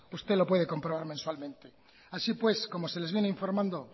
usted lo puede comprobar mensualmente así pues como se les viene informando